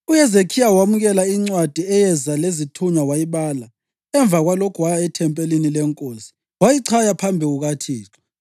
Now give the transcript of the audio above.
UHezekhiya wamukela incwadi eyeza lezithunywa wayibala. Emva kwalokho waya ethempelini leNkosi, wayichaya phambi kukaThixo.